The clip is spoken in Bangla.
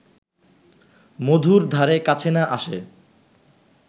মধুর ধারে কাছে না আসে